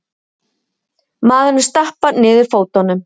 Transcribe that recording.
Maðurinn stappar niður fótunum.